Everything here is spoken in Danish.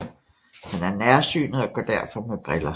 Han er nærsynet og går derfor med briller